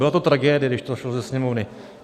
Byla to tragédie, když to šlo ze Sněmovny.